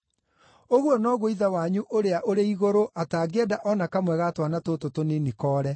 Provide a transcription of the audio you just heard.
Ũguo noguo Ithe wanyu ũrĩa ũrĩ Igũrũ atangĩenda o na kamwe ga twana tũtũ tũnini koore.